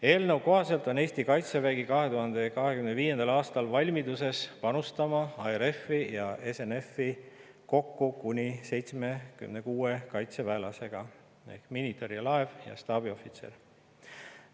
Eelnõu kohaselt on Eesti kaitsevägi 2025. aastal valmis panustama ARF-i ja SNF-i kokku kuni 76 kaitseväelasega ehk miinitõrjelaeva ja staabiohvitseriga.